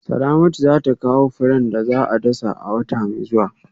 Salamatu za ta kawo furen da za a dasa a wata mai zuwa